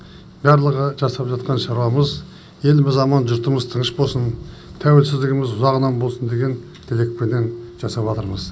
барлығы жасап жатқан шаруамыз еліміз аман жұртымыз тыныш болсын тәуелсіздігіміз ұзағынан болсын деген тілекпенен жасаватырмыз